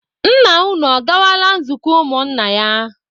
Nna unu ọ gawala nzukọ ụmụ nna ya?